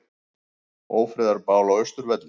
Ófriðarbál á Austurvelli